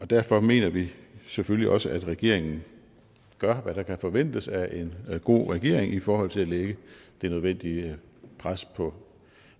derfor mener vi selvfølgelig også at regeringen gør hvad der kan forventes af en god regering i forhold til at lægge det nødvendige pres på